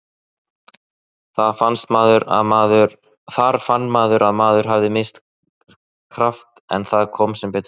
Þar fann maður að maður hafði misst kraft en það kom sem betur fer.